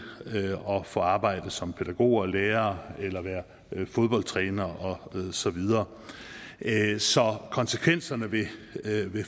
og få arbejde som pædagoger og lærere eller være fodboldtrænere og så videre så konsekvenserne ved